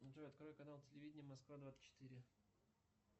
джой открой канал телевидения москва двадцать четыре